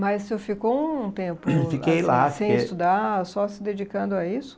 Mas o senhor ficou um tempo, fiquei lá, sem estudar, só se dedicando a isso?